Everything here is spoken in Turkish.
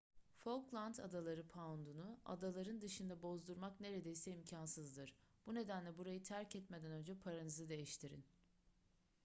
falkland adaları poundunu adaların dışında bozdurmak neredeyse imkansızdır bu nedenle burayı terk etmeden önce paranızı değiştirin